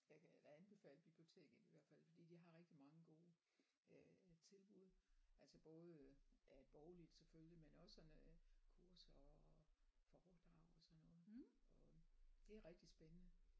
Jeg kan da anbefale biblioteket i hvert fald fordi de har rigtig mange gode øh tilbud altså både øh ja bogligt selvfølgelig men også sådan øh kurser og foredrag og sådan noget og det er rigtig spændende